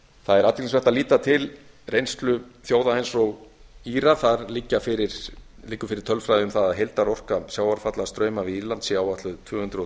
það er athyglisvert að líta til reynslu þjóða eins og íra þar liggur fyrir tölfræði um það að heildarorka sjávarfalla strauma við írland sé áætluð tvö hundruð